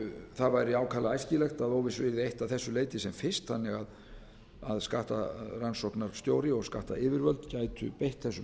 það væri ákaflega æskilegt að óvissu yrði eytt að þessu leyti sem fyrst þannig að skattrannsóknarstjóra og skattyfirvöld gætu beitt þessum heimildum í